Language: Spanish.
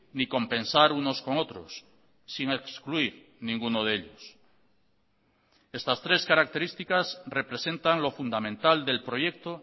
ni compensar unos con otros sin excluir ninguno de ellos estas tres características representan lo fundamental del proyecto